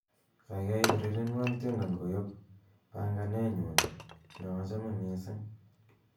gaigai urerenwon tiendo koyop panganenyun neochome missing